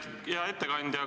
Hea ettekandja!